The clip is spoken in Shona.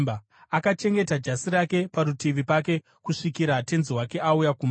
Akachengeta jasi rake parutivi pake kusvikira tenzi wake auya kumba.